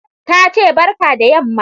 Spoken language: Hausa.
Ta ce ''barka da yamma''.